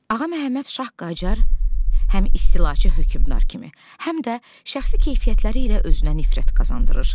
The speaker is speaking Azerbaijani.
Ağa Məhəmməd Şah Qaçar həm istilaçı hökümdar kimi, həm də şəxsi keyfiyyətləri ilə özünə nifrət qazandırır.